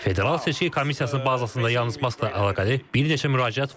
Federal seçki komissiyası bazasında yalnız Maskla əlaqəli bir neçə müraciət var.